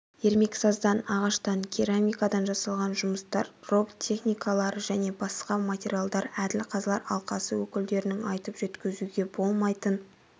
ермексаздан ағаштан керамикадан жасалған жұмыстар роботтехникалары және басқа материалдар әділ қазылар алқасы өкілдерінің айтып жеткізуге болмайтын